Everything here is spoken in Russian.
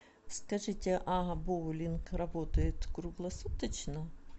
скажите а боулинг работает круглосуточно